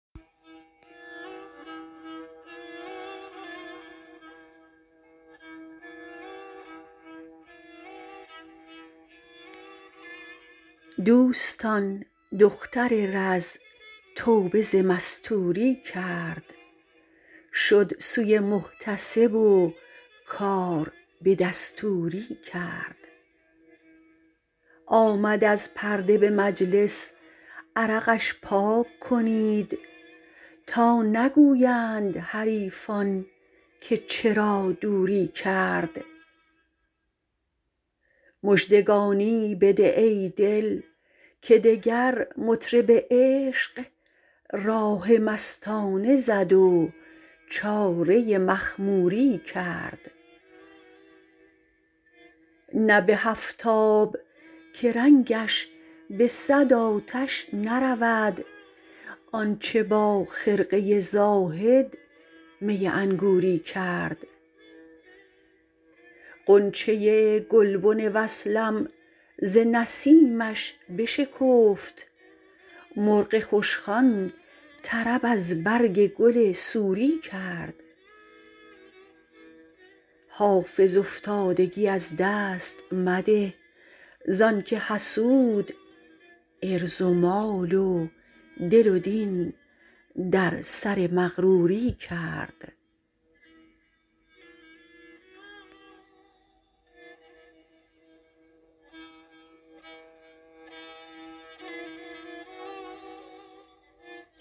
دوستان دختر رز توبه ز مستوری کرد شد سوی محتسب و کار به دستوری کرد آمد از پرده به مجلس عرقش پاک کنید تا نگویند حریفان که چرا دوری کرد مژدگانی بده ای دل که دگر مطرب عشق راه مستانه زد و چاره مخموری کرد نه به هفت آب که رنگش به صد آتش نرود آن چه با خرقه زاهد می انگوری کرد غنچه گلبن وصلم ز نسیمش بشکفت مرغ خوشخوان طرب از برگ گل سوری کرد حافظ افتادگی از دست مده زان که حسود عرض و مال و دل و دین در سر مغروری کرد